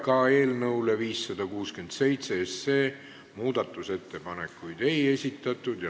Ka eelnõu 567 muutmiseks ettepanekuid ei esitatud.